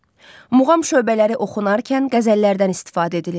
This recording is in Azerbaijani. Muğam şöbələri oxunarkən qəzəllərdən istifadə edilir.